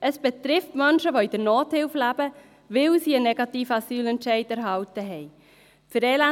Es betrifft Menschen, die mit Nothilfe leben, weil sie einen negativen Asylentscheid erhalten haben.